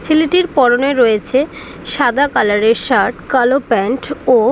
ছেলেটির পরনে রয়েছে সাদা কালার -এর শার্ট কালো কালার -এর প্যান্ট -ও ।